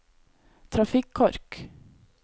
trafikkork